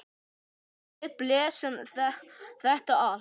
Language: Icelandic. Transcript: Og við blésum þetta af.